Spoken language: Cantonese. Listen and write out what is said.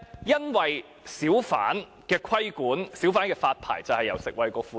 因為小販的規管及發牌都由食衞局負責。